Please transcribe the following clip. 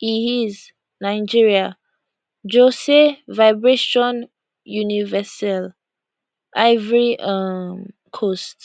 heis nigeria josey vibration universelle ivory um coast